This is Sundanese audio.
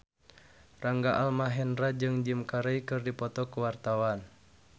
Rangga Almahendra jeung Jim Carey keur dipoto ku wartawan